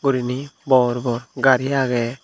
gurine bor bor gari agey.